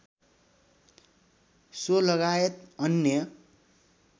so लगायत अन्य